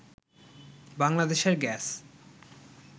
বাংলাদেশের গ্যাস